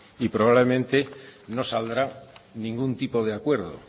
y probablemente no saldrá ningún tipo de acuerdo